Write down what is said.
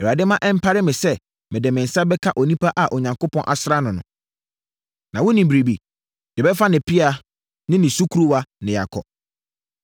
Awurade mma ɛmpare me sɛ mede me nsa bɛka onipa a Onyankopɔn asra no. Na wonim biribi? Yɛbɛfa ne pea ne ne sukuruwa na yɛakɔ.”